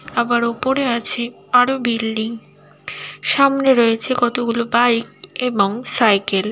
আবার ওপরে আছেআরো বিল্ডিং সামনে রয়েছে কতগুলো বাইক এবং সাইকেল ।